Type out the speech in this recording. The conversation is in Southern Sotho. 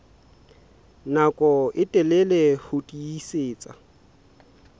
nako e telele ho tiisitse